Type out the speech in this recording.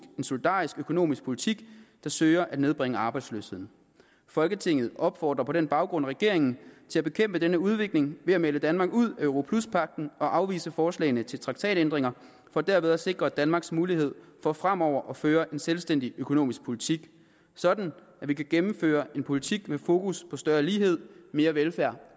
solidarisk økonomisk politik der søger at nedbringe arbejdsløsheden folketinget opfordrer på den baggrund regeringen til at bekæmpe denne udvikling ved at melde danmark ud af europluspagten og afvise forslagene til traktatændringer for derved at sikre danmarks muligheder for fremover at føre en selvstændig økonomisk politik sådan at vi kan gennemføre en politik med fokus på større lighed mere velfærd